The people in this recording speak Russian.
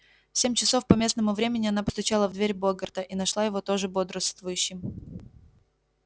в семь часов по местному времени она постучала в дверь богерта и нашла его тоже бодрствующим